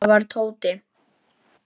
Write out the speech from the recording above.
Það var Tóti.